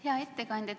Hea ettekandja!